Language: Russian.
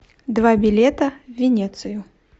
два билета в венецию